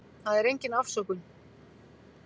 Það er engin afsökun.